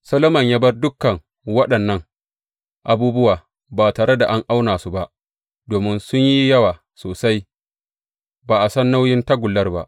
Solomon ya bar dukan waɗannan abubuwa ba tare da an auna su ba, domin sun yi yawa sosai; ba a san nauyin tagullar ba.